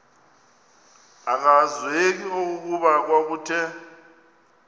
akwazeki okokuba kwakuthe